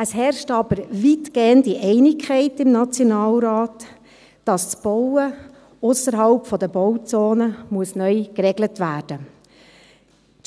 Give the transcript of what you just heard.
Es herrscht aber weitgehende Einigkeit im Nationalrat, dass das Bauen ausserhalb der Bauzone neu geregelt werden